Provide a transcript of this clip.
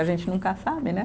A gente nunca sabe, né?